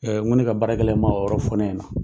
n ko ne ka baarakɛla in man o yɔrɔ fɔ ne ɲɛ na.